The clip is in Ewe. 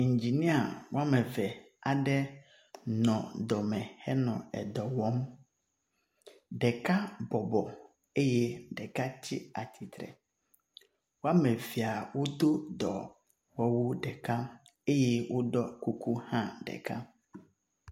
Ŋginia wome eve aɖe nɔ dɔme henɔ dɔ wɔm. Ɖeka bɔbɔ eye ɖeka tsi atsitre. Wome evea wodo dɔmewu ɖeka eye woɖɔ kuku hã ɖeka.